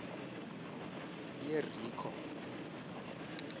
yerikho